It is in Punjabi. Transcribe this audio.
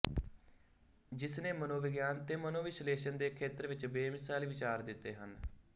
ਜਿਸਨੇ ਮਨੋਵਿਗਿਆਨ ਤੇ ਮਨੋਵਿਸ਼ਲੇਸ਼ਣ ਦੇ ਖੇਤਰ ਵਿੱਚ ਬੇਮਿਸਾਲ ਵਿਚਾਰ ਦਿੱਤੇ ਹਨ